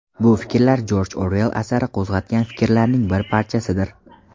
Bu fikrlar Jorj Oruell asari qo‘zg‘atgan fikrlarning bir parchasidir.